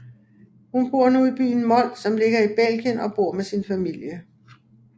Hun bor nu i byen Mol som ligger i Belgien og bor med sin familie